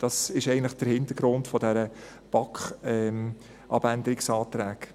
Das ist eigentlich der Hintergrund dieser BaK-Abänderungsanträge.